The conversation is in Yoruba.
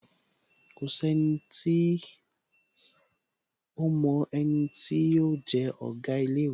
Kòsí enití ómo eni tí yóò je Òga ilé īwé